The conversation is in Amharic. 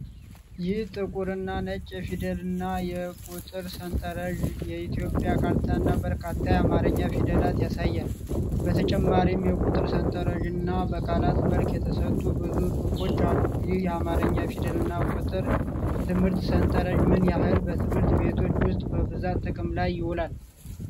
ይህ ጥቁርና ነጭ የፊደልና የቁጥር ሰንጠረዥ የኢትዮጵያ ካርታንና በርካታ የአማርኛ ፊደላትን ያሳያል። በተጨማሪም የቁጥር ሠንጠረዥና በቃላት መልክ የተሰጡ ብዙ ጽሑፎች አሉ። ይህ የአማርኛ ፊደልና የቁጥር ትምህርት ሰንጠረዥ ምን ያህል በትምህርት ቤቶች ውስጥ በብዛት ጥቅም ላይ ይውላል?